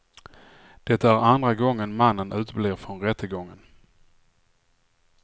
Det är andra gången mannen uteblir från rättegången.